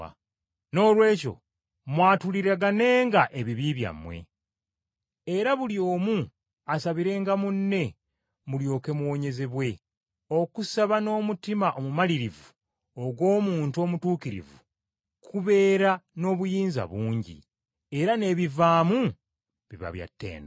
Noolwekyo mwatulireganenga ebibi byammwe, era buli omu asabirenga munne, mulyoke muwonyezebwe. Okusaba n’omutima omumalirivu ogw’omuntu omutuukirivu, kubeera n’obuyinza bungi, era n’ebivaamu biba bya ttendo.